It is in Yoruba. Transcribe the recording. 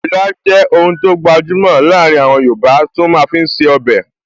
Ilá jẹ́ oun tó gbajúmọ̀ láàrin àwọn yoòbá tí wọ́n máa fi ń ṣe ọbẹ̀